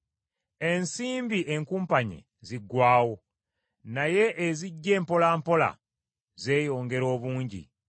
Ensimbi enkumpanye ziggwaawo, naye ezijja empolampola zeeyongera obungi.